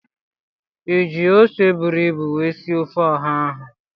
I ji ose buru ibu wee sie ofe Oha ahụ?